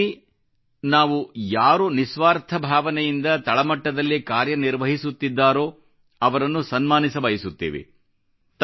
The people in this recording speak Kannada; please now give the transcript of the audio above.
ಇದರಲ್ಲಿ ನಾವು ಯಾರು ನಿಸ್ವಾರ್ಥ ಭಾವನೆಯಿಂದ ತಳ ಮಟ್ಟದಲ್ಲಿ ಕಾರ್ಯ ನಿರ್ವಹಿಸುತ್ತಿದ್ದಾರೋ ಅವರನ್ನು ಸನ್ಮಾನಿಸಬಯಸುತ್ತೇವೆ